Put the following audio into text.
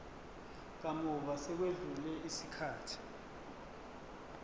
kamuva sekwedlule isikhathi